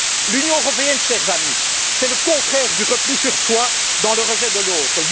L'Union européenne, chers amis, c'est le contraire du repli sur soi dans le rejet de l'autre.